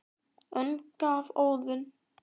önd gaf Óðinn